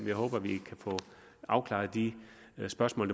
jeg håber at vi kan få afklaret de spørgsmål